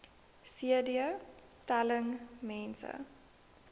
cd telling mense